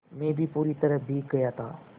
मैं भी पूरी तरह भीग गया था